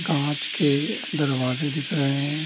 काँच के दरवाजे दिख रहे है।